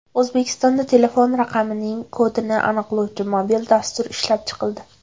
O‘zbekistonda telefon raqamining kodini aniqlovchi mobil dastur ishlab chiqildi.